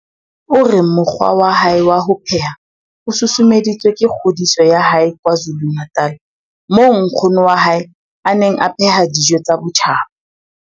O re mokgwa wa hae wa ho pheha o susumeditswe ke kgodiso ya hae KwaZulu-Natal moo nkgono wa hae a neng a pheha dijo tsa botjhaba.